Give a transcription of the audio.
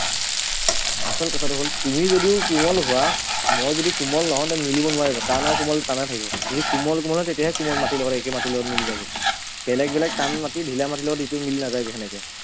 আচল কথাটো হ'ল তুমি যদিও কোমল হোৱা মই যদি কোমল নহও ন মিলিব নোৱাৰিব টান আৰু কোমল টানেই থাকিব যদি কোমল কোমল হয় তেতিয়াহে কোমল মাটিৰ লগত একে মাটিৰ লগত মিলি যাব বেলেগ বেলেগ টান মাটি ধিলা মাটিৰ লগত ইটো মিলি নাযায়গে সেনেকে